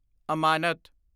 ਅਮਾਨਤ